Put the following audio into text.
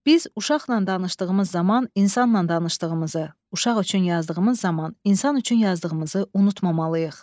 Biz uşaqla danışdığımız zaman insanla danışdığımızı, uşaq üçün yazdığımız zaman insan üçün yazdığımızı unutmamalıyıq.